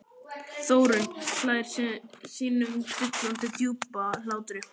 Þórunn hlær sínum dillandi djúpa hlátri.